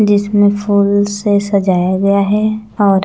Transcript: जिस में फूल से सजाया गया है और--